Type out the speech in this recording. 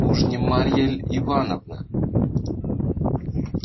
уж не марья ль ивановна